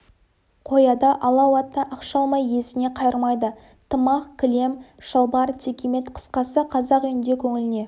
қояды алау атты ақша алмай иесіне қайырмайды тымақ кілем шалбар текемет қысқасы қазақ үйінде көңіліне